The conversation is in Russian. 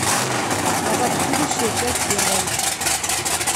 назад в будущее часть первая